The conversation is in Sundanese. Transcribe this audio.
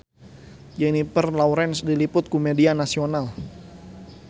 Jennifer Lawrence diliput ku media nasional